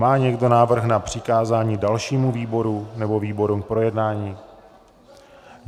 Má někdo návrh na přikázání dalšímu výboru nebo výborům k projednání?